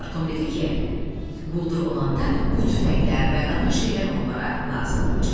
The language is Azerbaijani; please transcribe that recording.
Tom dedi ki, quldur olanda bu tüfənglər və qalan şeylər onlara lazım olacaq.